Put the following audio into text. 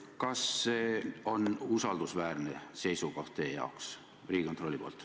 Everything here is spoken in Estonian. Kas see Riigikontrolli seisukoht on teie jaoks usaldusväärne seisukoht?